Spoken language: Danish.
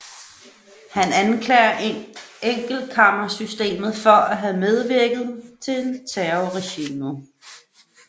Han anklager enkeltkammersystemet for at have medvirket til terrorregimet